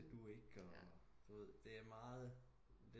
Skal du ikke og d ved det er meget